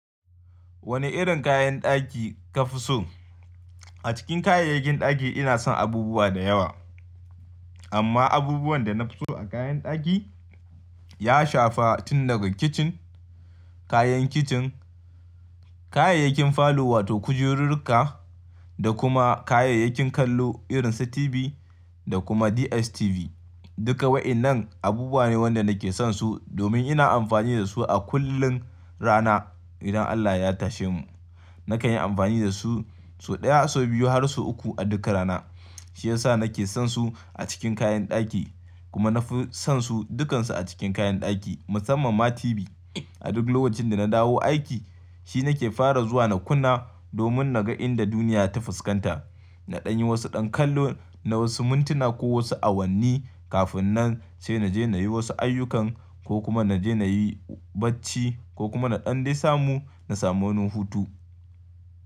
Wane irin kayan ɗaki ka fi so? A cikin kayayyakin ɗaki ina son abubuwa da yawa. Amma abubuwan da na fi so a kayan ɗaki ya shafa tun daga kicin, kayan kicin, kayayyakin falo wato kujururka da kuma kayayyakin kallo irin su TV da kuma DSTV. Duka waɗannan abubuwa ne waɗanda nake son su domin ina amfani da su a kullum rana. Idan Allah ya tashe mu, na kan yi amfani da su sau ɗaya, sau biyu har sau uku a duka rana. Shi ya sa nake son su a cikin kayan ɗaki kuma na fi son su dukansu a cikin kayan ɗaki, musamman ma TV. A duk lokacin da na dawo aiki shi nake fara zuwa na kunna domin na ga inda duniya ta fuskanta. Na ɗan yi wasu ɗan kallo na wasu mintuna ko wasu awanni kafin nan sai naje na yi wasu ayyukan ko kuma naje na yi bacci ko kuma na ɗan dai samu, na samu hutu.